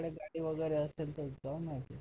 गाडी वगैरे असेल तर जाऊन या सर